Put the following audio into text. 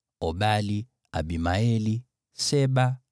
Obali, Abimaeli, Sheba,